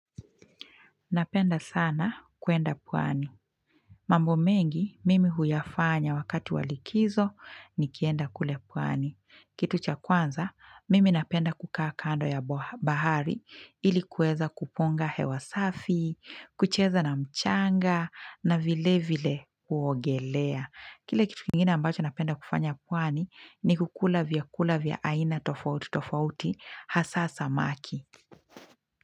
Napenda sana kuenda pwani. Mambo mengi, mimi huyafanya wakati wa likizo nikienda kule pwani. Kitu cha kwanza, mimi napenda kukaa kando ya bahari ilikuweza kuponga hewa safi, kucheza na mchanga na vile vile kuogelea. Kile kitu kingine ambacho napenda kufanya pwani ni kukula vyakula vya aina tofauti tofauti hasa samaki.